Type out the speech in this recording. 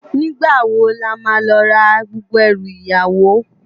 Nigbá wó làmá lò rá gbógbó èrú iyàwó?